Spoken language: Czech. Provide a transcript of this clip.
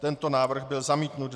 Tento návrh byl zamítnut.